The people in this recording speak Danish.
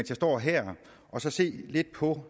jeg står her og så se lidt på